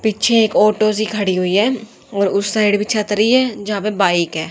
पीछे एक ऑटो सी खड़ी हुई है और उस साइड भी छतरी है जहां पे बाइक है।